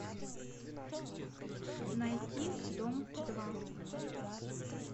найти дом два